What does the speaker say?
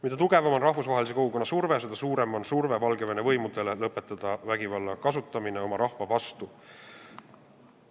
Mida tugevam on rahvusvahelise kogukonna surve, seda suurem on surve Valgevene võimudele lõpetada vägivalla kasutamine oma rahva vastu.